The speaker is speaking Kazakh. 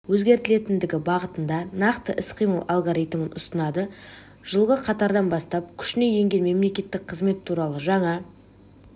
өзгертілетіндігі бағытында нақты іс-қимыл алгоритмін ұсынады жылғы қаңтардан бастап күшіне енген мемлекеттік қызмет туралы жаңа